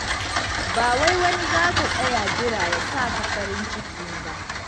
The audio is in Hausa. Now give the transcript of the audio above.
Ba wai wani za ka tsaya jira ya sa ka farin cikin ba.